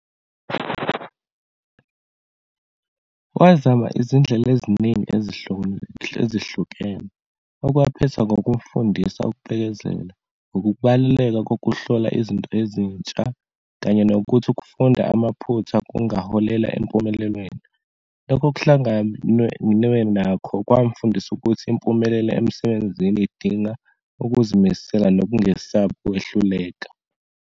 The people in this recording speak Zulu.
Wazama izindlela eziningi ezihlukene, okwaphetha ngokumfundisa ukubekezela, ukubaluleka kokuhlola izinto ezintsha, kanye nokuthi ukufunda amaphutha kungaholela empumelelweni. Lokho kuhlanganwe nakho kwamfundisa ukuthi impumelelo emsebenzini idinga ukuzimisela nokungesabi ukwehluleka.